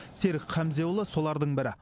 серік хамзеұлы солардың бірі